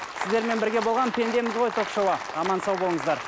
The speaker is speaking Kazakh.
сіздермен бірге болған пендеміз ғой ток шоуы аман сау болыңыздар